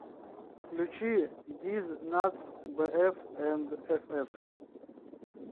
включи диз натс бээф энд эфэф